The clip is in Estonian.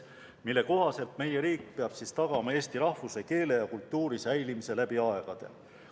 Põhiseaduse kohaselt peab meie riik tagama eesti rahvuse, keele ja kultuuri säilimise läbi aegade.